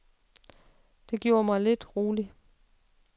Det gjorde mig lidt rolig.